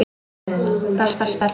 Besta stelpa.